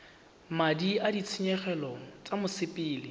madi a ditshenyegelo tsa mosepele